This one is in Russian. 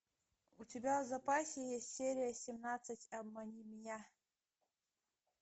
у тебя в запасе есть серия семнадцать обмани меня